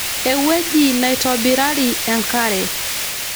ewueji naitobirari enkare